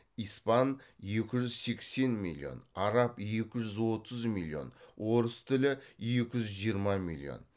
испан араб орыс тілі